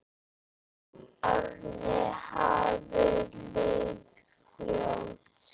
Árin hafa liðið fljótt.